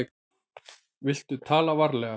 Viltu tala varlega.